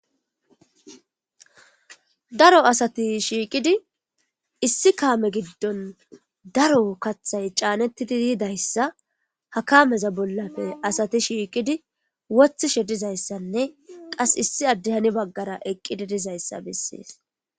daro asati shiiqidi issi kaame giddon daro kathay caanettidi diidayssa hakaameza bollafe asati shiiqidi wothishe dizayssanne qas issi addehani baggara eqqidi dizayssa bessees